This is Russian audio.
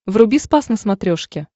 вруби спас на смотрешке